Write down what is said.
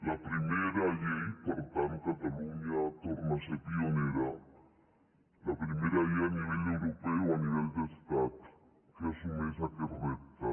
la primera llei per tant catalunya torna a ser pionera a nivell europeu a nivell d’estat que assumeix aquest repte